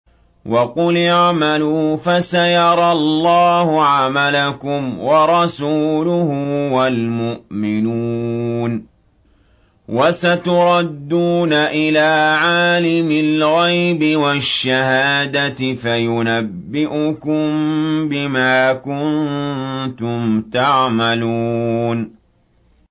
وَقُلِ اعْمَلُوا فَسَيَرَى اللَّهُ عَمَلَكُمْ وَرَسُولُهُ وَالْمُؤْمِنُونَ ۖ وَسَتُرَدُّونَ إِلَىٰ عَالِمِ الْغَيْبِ وَالشَّهَادَةِ فَيُنَبِّئُكُم بِمَا كُنتُمْ تَعْمَلُونَ